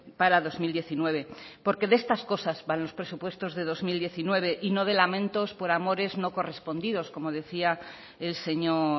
para dos mil diecinueve porque de estas cosas van los presupuestos de dos mil diecinueve y no de lamentos por amores no correspondidos como decía el señor